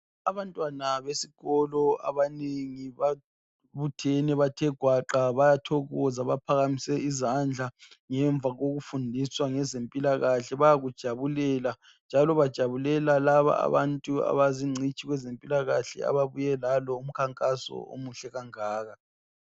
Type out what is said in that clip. Abantwana besikolo abaningi babuthene bathe gwaqa bayathokoza, baphakamise izandla ngemva kokufundiswa ngezempilakahle. Bayakujabulela, njalo bajabulela laba abantu abazincitshi kwezempilakahle ababuye lalo umkhankaso omuhle kangaka.